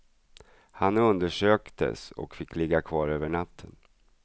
Han undersöktes och fick ligga kvar över natten.